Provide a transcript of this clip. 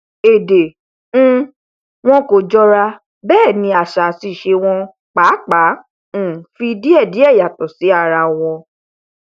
èdè um wọn kò jọra bẹẹ ni àṣà àti ìṣe wọn pàápàá um fi díẹdíẹ yàtọ sí ara wọn